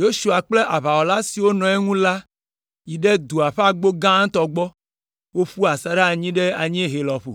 Yosua kple aʋawɔla siwo nɔ eŋu la yi ɖe dua ƒe agbo gãtɔ gbɔ, woƒu asaɖa anyi ɖe anyiehe lɔƒo,